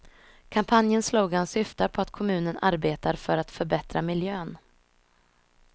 Kampanjens slogan syftar på att kommunen arbetar för att förbättra miljön.